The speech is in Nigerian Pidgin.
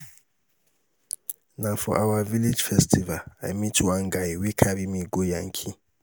na for our village festival i meet one guy wey carry me go yankee.